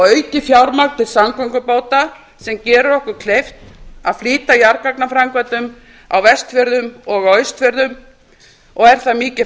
aukið fjármagn til samgöngubóta sem gerir okkur kleift að flýta jarðgangaframkvæmdum á vestfjörðum og á austfjörðum og er það mikið